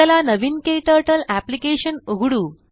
चला नवीन क्टर्टल अप्लिकेशन उघडू